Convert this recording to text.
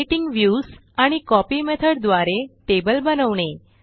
creating views आणि copy method द्वारे table बनवणे